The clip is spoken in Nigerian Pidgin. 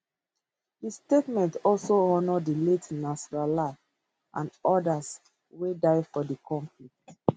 di statement also honour di late nasrallah and odas wey die for di conflict